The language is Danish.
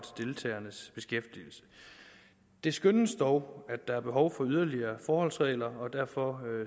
deltagernes beskæftigelse det skønnes dog at der er behov for yderligere forholdsregler og derfor